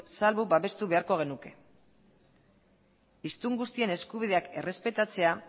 salbu babestu beharko genuke hiztun guztien eskubideak errespetatzea